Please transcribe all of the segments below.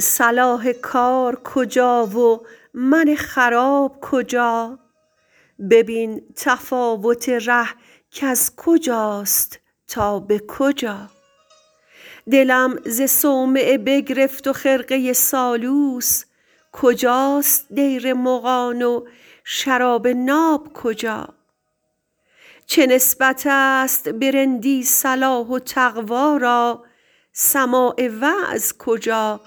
صلاح کار کجا و من خراب کجا ببین تفاوت ره کز کجاست تا به کجا دلم ز صومعه بگرفت و خرقه سالوس کجاست دیر مغان و شراب ناب کجا چه نسبت است به رندی صلاح و تقوا را سماع وعظ کجا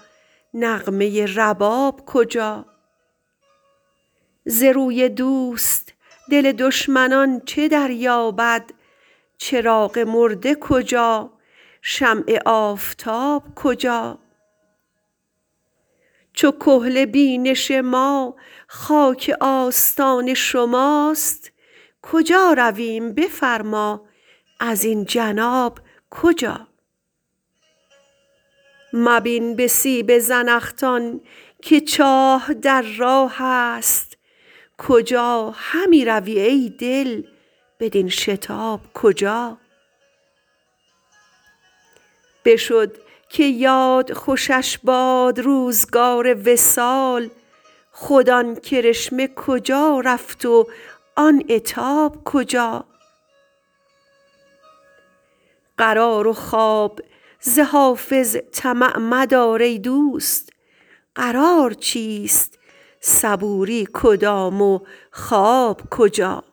نغمه رباب کجا ز روی دوست دل دشمنان چه دریابد چراغ مرده کجا شمع آفتاب کجا چو کحل بینش ما خاک آستان شماست کجا رویم بفرما ازین جناب کجا مبین به سیب زنخدان که چاه در راه است کجا همی روی ای دل بدین شتاب کجا بشد که یاد خوشش باد روزگار وصال خود آن کرشمه کجا رفت و آن عتاب کجا قرار و خواب ز حافظ طمع مدار ای دوست قرار چیست صبوری کدام و خواب کجا